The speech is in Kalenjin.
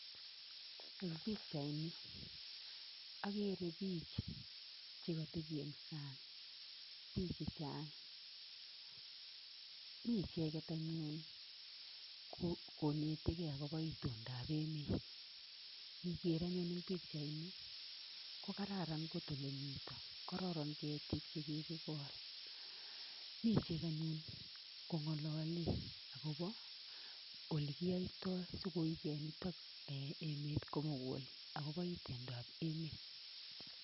Eng pichaini akere biich chekatepi eng san'g. Biich chechang , mi icheket anyun konetegei akobo itondab emet. Ngiger anyun eng pichaini kokararan kot ole mito. Korporon ketik che kikikol. Mi ichek anyun kongolole akobo olekiyoitoi sikoige nitok emet komugul akobo itondab emet.